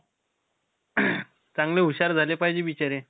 चांगले हुशार झाले पाहिजे बिचारे.